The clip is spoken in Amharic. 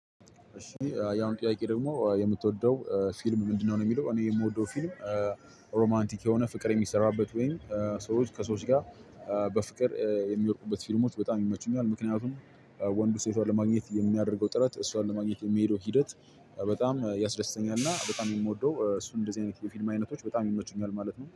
እሺ ያሁኑ ጥያቄ ደግሞ የምትወደው ፊልም ምንድነው? የሚለው እኔ የምወደው ፊልም ሮማንቲክ የሆነ ፍቅር የሚሰራበት ወይም ሰዎች ከሰወች ጋር በፍቅር የሚወድቁበት ፊልሞች በጣም ይመቹኛል። ምክንያቱም ወንዱ ሴቷን ለማግኘት የሚያደርገው ጥረት እሷን ለማግኘት የሚሄደው ሂደት በጣም ያስደስተኛል። እና በጣም የምወደው እሱን እንደዚህ አይነት የፊልማ አይነቶች በጣም ይመቹኛል ማለት ነው